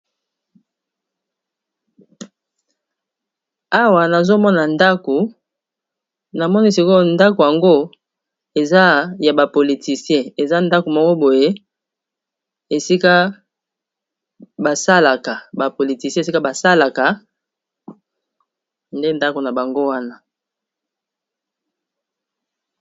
awa nazomona ndako na moni sikoyo ndako yango eza ya bapolitisien eza ndako moko boye esika basalaka bapolitisien esika basalaka nde ndako na bango wana